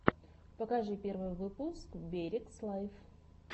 покажи первый выпуск берегс лайв